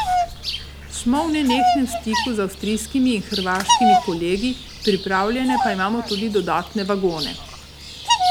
Smo v nenehnem stiku z avstrijskimi in hrvaškimi kolegi, pripravljene pa imamo tudi dodatne vagone.